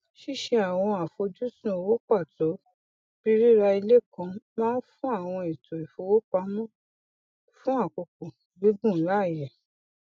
ṣíṣe àwọn àfojúsùn owó pàtó bí rírà ilé kan máa ń fún àwọn ètò ìfowópamọ fún àkókò gígùn láyè